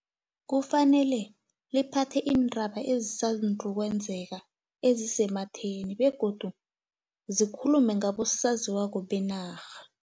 Kufanele liphathe iindaba ezisandu ukwenzeka, ezisematheni, begodu zikhulume ngabosaziwako benarha.